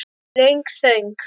Löng þögn.